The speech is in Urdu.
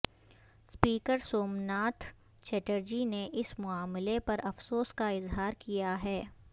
سپیکر سوم ناتھ چیٹرچی نے اس معاملے پر افسوس کا اظہار کیا ہے